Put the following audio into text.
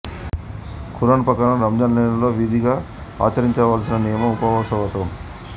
ఖురాన్ ప్రకారం రంజాన్ నెలలో విధిగా ఆచరించవలసిన నియమం ఉపవాసవ్రతం